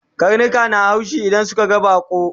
Karnika na haushi idan sun ga baƙo